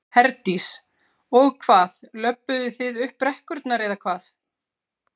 Herdís: Og hvað, löbbuðu þið upp brekkurnar eða hvað?